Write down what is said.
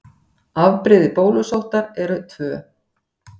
Afbrigði bólusóttar eru tvö.